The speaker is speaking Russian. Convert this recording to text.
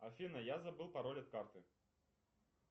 афина я забыл пароль от карты